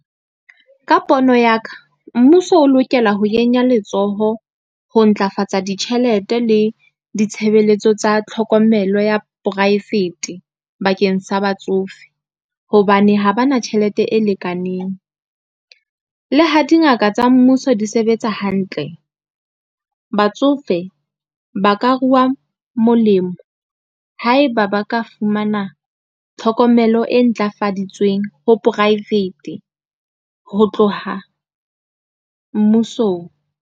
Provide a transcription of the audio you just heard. Ka pono ya ka, mmuso o lokela ho kenya letsoho ho ntlafatsa ditjhelete le ditshebeletso tsa tlhokomelo ya poraefete bakeng sa batsofe, hobane ha ba na tjhelete e lekaneng. Le ha dingaka tsa mmuso di sebetsa hantle, batsofe ba ka ruwa molemo ha eba ba ka fumana tlhokomelo e ntlafaditsweng ho private ho tloha mmusong.